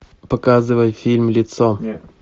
показывай фильм лицо